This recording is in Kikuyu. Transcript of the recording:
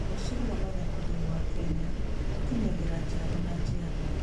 Ũgaacĩru wa mathako thĩinĩ wa Kenya ũkinyagĩra njiarũa na njiarũa.